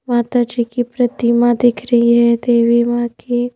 माता जी की प्रतिमा दिख रही है देवी मां की--